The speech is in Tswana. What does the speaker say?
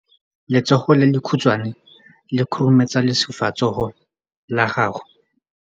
Letsogo le lekhutshwane le khurumetsa lesufutsogo la gago.